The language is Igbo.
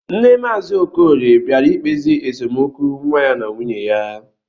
Nne maazi okorie bịara ikpezi esemokwu nwa ya na nwuye ya